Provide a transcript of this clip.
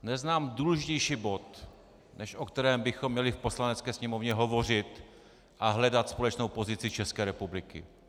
Neznám důležitější bod, než o kterém bychom měli v Poslanecké sněmovně hovořit a hledat společnou pozici České republiky.